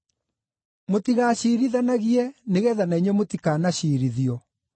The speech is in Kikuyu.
“Mũtigaciirithanagie nĩgeetha na inyuĩ mũtikanaciirithio.